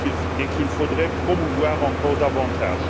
et qu'il faudrait promouvoir encore davantage.